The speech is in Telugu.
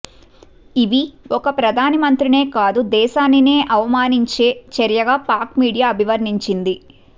ఇవి ఒక ప్రధాన మంత్రినే కాదు దేశానే్న అవమానించే చర్యగా పాక్ మీడియా అభివర్ణించింది